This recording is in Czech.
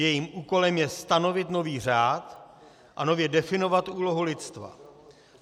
Jejím úkolem je stanovit nový řád a nově definovat úlohu lidstva.